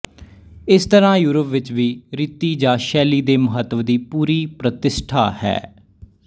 ਇਸ ਤਰ੍ਹਾ ਯੂਰਪ ਵਿੱਚ ਵੀ ਰੀਤੀ ਜਾਂ ਸ਼ੈਲੀ ਦੇ ਮਹੱਤਵ ਦੀ ਪੂਰੀ ਪ੍ਰਤਿਸਠਾ ਹੈ